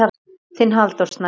Þinn Halldór Snær.